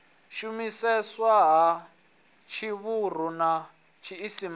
shumiseswa ha tshivhuru na tshiisimane